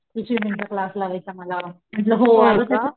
कि स्वीमिन्ग चा क्लास लावायचा मला,